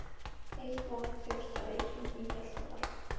Heitt vatn fékkst á Reykjum í Hjaltadal.